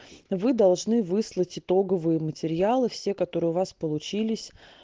вы должны выслать итоговые материалы все которые у вас получились